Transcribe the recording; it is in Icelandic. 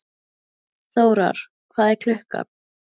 Þórar, hvað er klukkan?